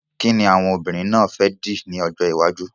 Kíni àwọn obìnrin náà fẹ́ dì ní ọjọ́ iwájú?